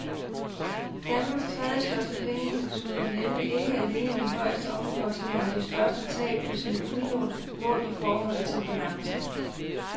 Danmarks tredjestørste pengeinstitut har nemlig ikke alene de højeste omkostninger og de største tab på sine udlån målt i forhold til balancen.